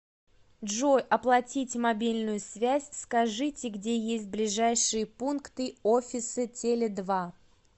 джой оплатить мобильную связь скажите где есть ближайшие пункты офисы теле два